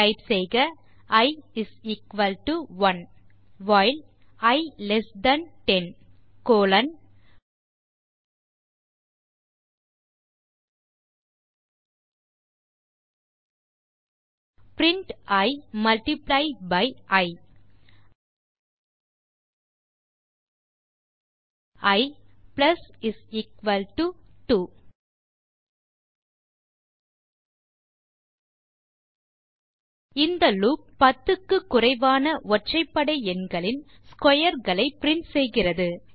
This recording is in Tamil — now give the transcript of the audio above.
டைப் செய்க i 1 while i less than 10 colon print i multiply by i i 2 இந்த லூப் 10 க்கு குறைவான ஒற்றைபடை எண்களின் ஸ்க்வேர் களை பிரின்ட் செய்கிறது